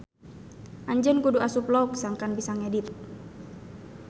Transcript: Anjeun kudu asup log sangkan bisa ngedit.